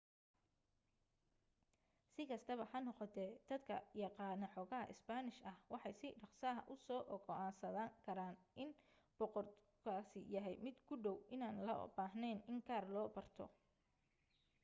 si kastaba ha noqotee dadka yaqaana xoogaa isbaanish ah waxay si dhaqso ah u soo go'aansan karaan in boortaqiisku yahay mid ku dhow inaan loo baahnayn in gaar loo barto